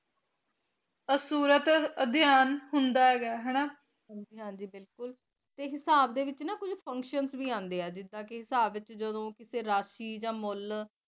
ਹਨ ਜੀ ਹਨ ਜੀ ਬਿਲਕੁਲ ਟੀ ਹਿਸਾਬ ਦੇ ਵਿਚ ਨਾ ਕੋਈ ਫਕੰਸ਼ਨ ਵੀ ਅੰਡੇ ਆ ਜਿਡਾ ਕੀ ਹਿਸਾਬ ਵਿਚ ਜਿਦੋ ਕਿਸੇ ਰਾਖਸ਼ੀ ਯਾ ਮੁਲ